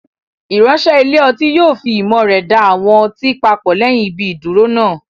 Ìránṣẹ́ ilé ọtí yóò fi ìmọ̀ rẹ̀ da àwọn ọtí papọ̀ lẹ́yìn ibi ìdúró náà.